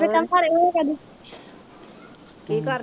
ਕੀ ਕਰ